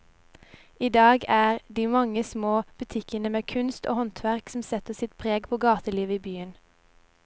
I dag er det de mange små butikkene med kunst og håndverk som setter sitt preg på gatelivet i byen.